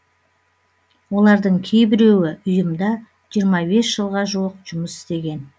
олардың кейбіреуі ұйымда жиырма бес жылға жуық жұмыс істеген